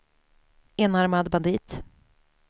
enarmad bandit